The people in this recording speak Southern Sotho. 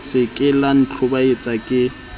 se ke la ntlhobaetsa ke